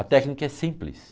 A técnica é simples.